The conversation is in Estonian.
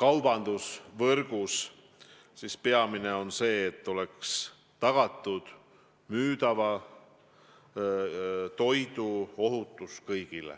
kaubandusvõrgus, siis peamine on see, et oleks tagatud müüdava toidu ohutus kõigile.